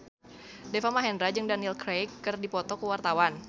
Deva Mahendra jeung Daniel Craig keur dipoto ku wartawan